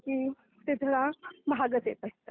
कारण की ते थोडे महागच येत असतात.